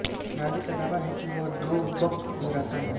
Norway का दावा है कि वह ड्रोबक में रहता है